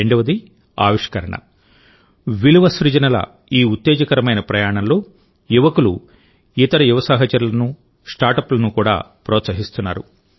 రెండవదిఆవిష్కరణ విలువ సృజనల ఈ ఉత్తేజకరమైన ప్రయాణంలో యువకులు ఇతర యువ సహచరులను స్టార్ట్అప్లను కూడా ప్రోత్సహిస్తున్నారు